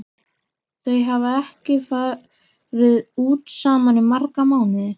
Þau hafa ekki farið út saman í marga mánuði.